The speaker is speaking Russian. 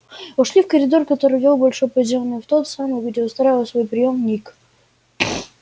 вошли в коридор который вёл в большой подземный зал в тот самый где устраивал свой приём ник